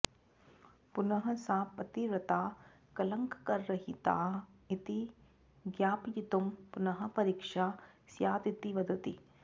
पुनः सा पतिव्रता कलङ्करहिता इति ज्ञापयितुं पुनः परीक्षा स्यादिति वदति